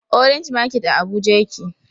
Orange market a abuja yake